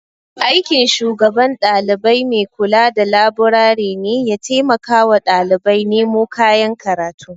Aikin shugaban dalibai maikula da laburare ne ya taimakawa ɗalibai nemo kayan karatu.